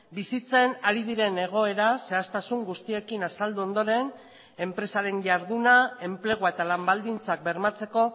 bizitzen ari diren egoera zehaztasun guztiekin azaldu ondoren enpresaren jarduna enplegua eta lan baldintzak bermatzeko